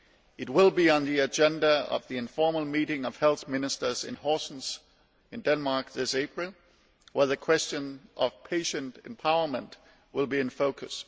It will be on the agenda of the informal meeting of health ministers in Horsens in Denmark this April, where the question of patient empowerment will be in focus.